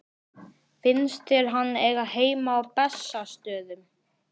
Finnst þér hann eiga heima á Bessastöðum?